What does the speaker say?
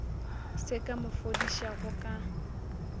se ka mo fodišago ka